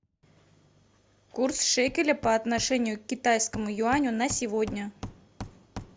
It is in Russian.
курс шекеля по отношению к китайскому юаню на сегодня